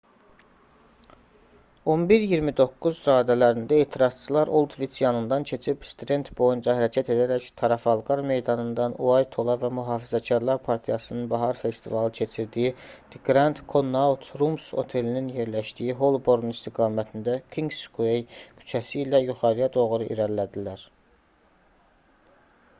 11:29 radələrində etirazçılar oldviç yanından keçib strend boyunca hərəkət edərək tarafalqar meydanından uaythola və mühafizəkarlar partiyasının bahar festivalı keçirdiyi the grand connaught rooms otelinin yerləşdiyi holborn istiqamətində kinqsuey küçəsi ilə yuxarıya doğru irəlilədilər